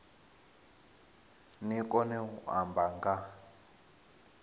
ni kone u amba nga